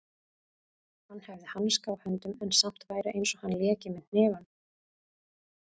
Hann hefði hanska á höndum en samt væri einsog hann léki með hnefunum.